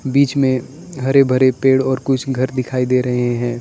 बीच में हरे भरे पेड़ और कुछ घर दिखाई दे रहे हैं।